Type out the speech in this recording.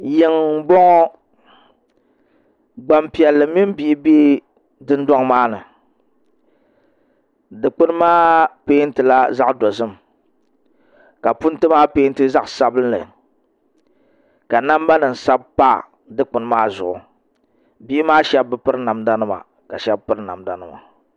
Yiŋ n bɔŋɔ gbanpiɛlli mini bihi bɛ Dundoŋ maa ni dikpuni maa peentila zaɣ dozim ka punti maa peenti zaɣ sabinli ka namba nim sabi pa dikpuni maa zuɣu bihi maa shab bi piri namda nima ka shab piri namda nima